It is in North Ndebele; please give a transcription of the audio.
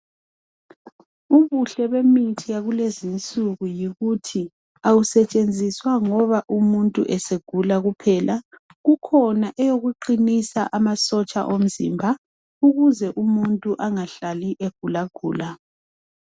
Ubuhle bemithi yakulezinsuku yikuthi awusetshenziswa ngoba umuntu egula kuphela kukhona eyokuqinisa amasotsha omzimba ukuze umuntu angahlali egula gula